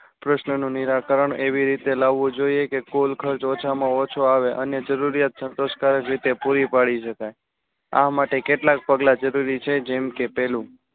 પ્રશ્ન નું નિરાકરણ એવી રીતે લાવવું જોઈએ કે કુલ ખર્ચ ઓછા માં ઓછું આવે અને જરૂરિયાત સંતોષકારક રીતે પૂરી પડી સકાય. આ માટે કેટલાક પગલા જરૂરી છે જેમ કે પહેલું